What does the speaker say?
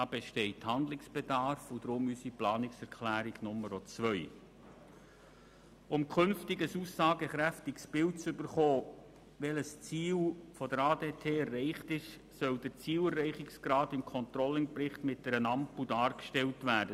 Hier besteht Handlungsbedarf und deshalb gibt es unsere Planungserklärung 2. Gemäss Planungserklärung 3 soll der Zielerreichungsgrad im Controlling-Bericht mit einer Ampel dargestellt werden.